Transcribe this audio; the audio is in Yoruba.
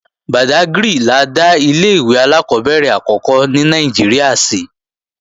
Bàdágrì la dá ilé-ìwé alákọ́bẹ̀rẹ̀ àkọ́kọ́ ní Nàìjíríà sí